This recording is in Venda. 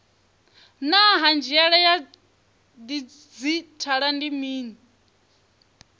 naa hanziela ya didzhithala ndi mini